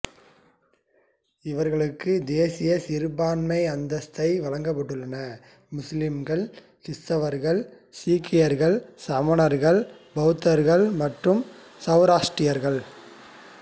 இவற்றிக்கு தேசிய சிறுபான்மை அந்தஸ்தை வழங்கப்பட்டுள்ளன முஸ்லிம்கள் கிறிஸ்தவர்கள் சீக்கியர்கள் சமணர்கள் பௌத்தர்கள் மற்றும் சொராட்ரியர்கள்